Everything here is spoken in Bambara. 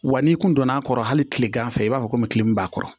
Wa n'i kun donna a kɔrɔ hali tilegan fɛ i b'a fɔ komi tile min b'a kɔrɔ